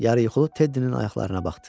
Yarıyuxulu Teddinin ayaqlarına baxdı.